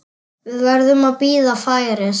Við verðum að bíða færis.